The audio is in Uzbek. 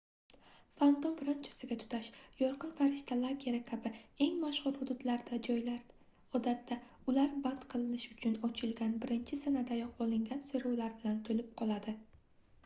fantom ranchosiga tutash yorqin farishta lageri kabi eng mashhur hududlarda joylar odatda ular band qilinish uchun ochilgan birinchi sanadayoq olingan soʻrovlar bilan toʻlib qoladi